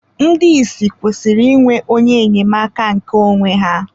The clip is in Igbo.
Ndị ìsì kwesịrị ịnwe onye enyemaka nke onwe ha..